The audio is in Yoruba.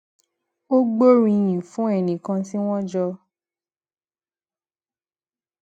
ó gbóríyìn fún ẹnì kan tí wón jọ